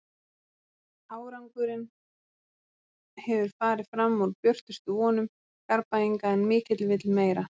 Árangurinn hefur farið fram úr björtustu vonum Garðbæinga en mikill vill meira.